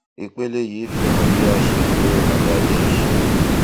ìpele yìí fihan bí a ṣe lo àlàyé ìṣirò